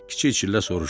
Kiçik çillə soruşdu.